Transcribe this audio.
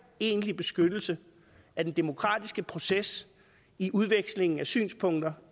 egentlig beskyttelse af den demokratiske proces i udvekslingen af synspunkter